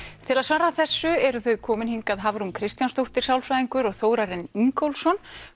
til að svara þessu eru þau komin hingað Hafrún Kristjánsdóttir sálfræðingur og Þórarinn Ingólfsson